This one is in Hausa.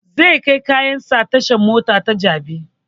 Zai kai kayan sa tashan mota ta jabi